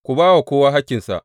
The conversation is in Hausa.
Ku ba wa kowa hakkinsa.